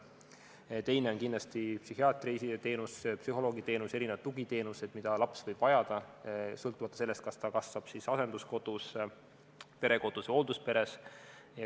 Teine plokk on kindlasti psühhiaatriteenus, psühholoogiteenus, erinevad tugiteenused, mida laps võib vajada, sõltumata sellest, kas ta kasvab asenduskodus, perekodus või hooldusperes.